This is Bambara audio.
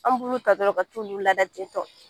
An b'u nu tadɔron ka t'u ulu laada te tɔ.